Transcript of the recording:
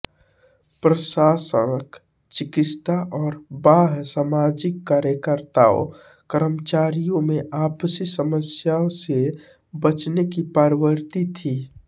प्रशासक चिकित्सा और बाह्य सामाजिक कार्यकर्ता कर्मचारियों में आपसी समस्याओं से बचने की प्रवृत्ति थी